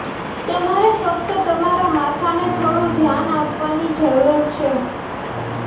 તમારે ફક્ત તમારા માથાને થોડું ધ્યાન આપવાની જરૂર છે